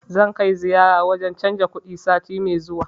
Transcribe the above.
Zan kai ziyara wurin canza kuɗi sati mai zuwa